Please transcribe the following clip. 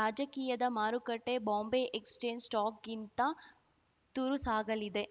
ರಾಜಕೀಯದ ಮಾರುಕಟ್ಟೆಬಾಂಬೆ exchange stock ಗಿಂತ ತುರುಸಾಗಲಿದೆ